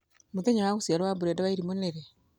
mũthenya wa gũciarwo wa brenda wairimu nĩ rĩ